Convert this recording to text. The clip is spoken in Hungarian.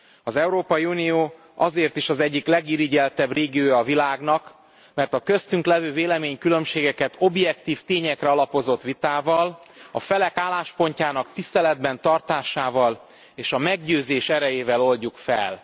Az Európai Unió azért is az egyik legirigyeltebb régiója a világnak, mert a köztünk lévő véleménykülönbségeket objektív tényekre alapozott vitával, a felek álláspontjának tiszteletben tartásával és a meggyőzés erejével oldjuk fel.